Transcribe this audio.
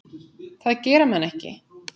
Það gera menn ekki.